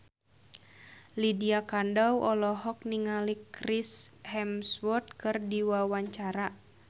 Lydia Kandou olohok ningali Chris Hemsworth keur diwawancara